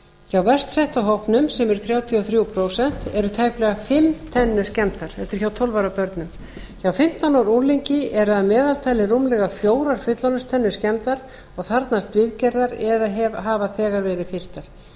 hjá verst setta hópnum sem eru þrjátíu og þrjú prósent eru tæplega fimm tennur skemmdar þetta er hjá tólf ára börnum hjá fimmtán ára unglingi eru að meðaltali fjórar fullorðinstennur skemmdar og þarfnast viðgerðar eða hafa þegar verið fylltar hjá